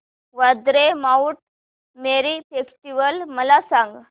Vandre Mount Mary festival मला सांग